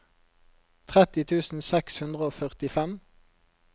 tretti tusen seks hundre og førtifem